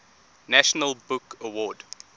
national book award